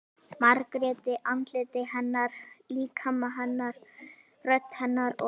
Margréti- andliti hennar, líkama hennar, rödd hennar- og